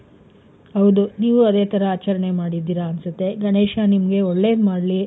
ಹೌದು. ನೀವು ಅದೇ ತರ ಆಚರಣೆ ಮಾಡಿದೀರ ಅನ್ಸುತ್ತೆ, ಗಣೇಶ ನಿಮ್ಗೆ ಒಳ್ಳೇದ್ ಮಾಡ್ಲಿ.